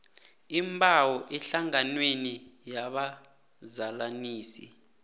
iimbawo ehlanganweni yabazalanisi